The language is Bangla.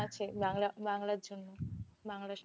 আছে বাংলা বাংলার জন্য। বাংলার সাথে